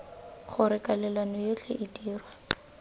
gore kwalelano yotlhe e dirwa